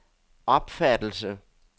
opfattelse